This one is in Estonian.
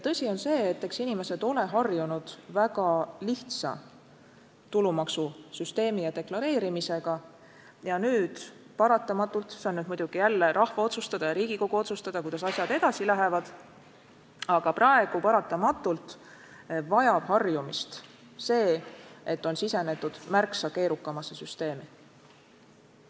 Tõsi on see, et eks inimesed ole harjunud väga lihtsa tulumaksusüsteemi ja deklareerimisega ja nüüd paratamatult – see on muidugi rahva otsustada ja Riigikogu otsustada, kuidas asjad edasi lähevad – vajab harjumist see, et on sisenetud märksa keerukamasse süsteemi.